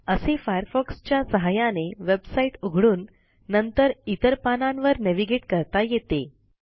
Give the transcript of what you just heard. असे फायरफॉक्स च्या सहाय्याने वेबसाईट उघडून नंतर इतर पानांवर नेव्हिगेट करता येते